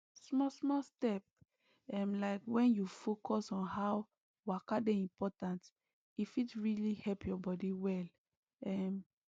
smallsmall step ehm like when you focus on how waka dey important e fit really help your body well um